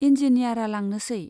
इन्जिनियारा लांनोसै ?